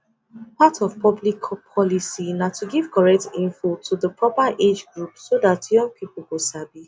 part of public policy na to give correct info to di proper age group so that young people go sabi